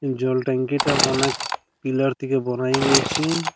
জল টাংকিটা অনেক পিলার থেকে বড় হয়ে গিয়েছে-এ ।